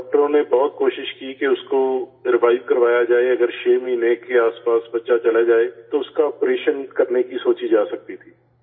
ڈاکٹروں نے بہت کوشش کی کہ اس کو ریوائیو کروایا جائے، اگر چھ مہینے کے آس پاس بچہ چلا جائے تو اس کا آپریشن کرنے کی سوچی جا سکتی تھی